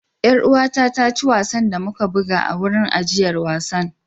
Yar uwata ta ci wasan da muka buga a wurin ajiyar wasan.